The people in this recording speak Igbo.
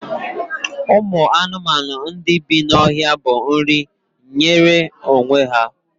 Ụmụ anụmanụ ndị bí n'ọhịa bụ nri nwere onwe ya